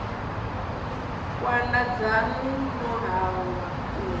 khwanda dzanu no hangwa u